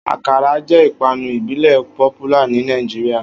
Akara jẹ́ ìpanu ìbílẹ̀ popualr ní Nàìjíríà